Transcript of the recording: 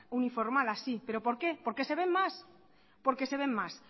uniformadas sí pero por qué porque se ven más porque se ven más